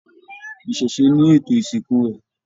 Iṣẹṣe ní ètò ìsìnkú rẹ.